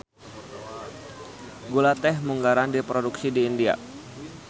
Gula teh munggaran diproduksi di India.